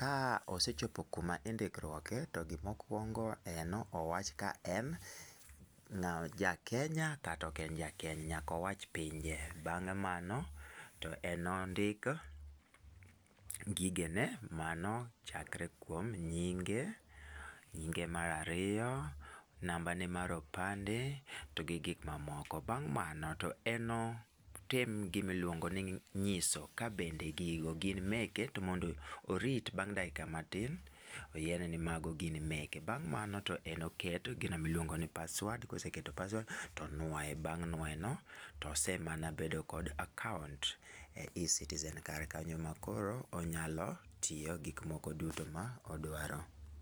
ka osechopo ku ma indikuok e to gi ma okuongo neno owach ka en ja kenya kata ok en ja kenmya. Nyaka owach pinje .Bang' mano to ne ondik gigene mano chakre kuom nyinge, nyinge mar ariyo, namba ne mar opande ,to gi gik ma moko. Bang' mano to en ne otim gi ma iluongo ni ng'iso ka bende gigo gin meke to bende orit bang' dakika matin oyie ne ni mano gin meke bang mano to en ne oket gino mi iluongo ni password, ko oseketo password to onwoye bang' nwoye no to osemana bedo kod account e ecitizen kar kanyo ma koro onyalo tiyo gik moko duto ma odwaro.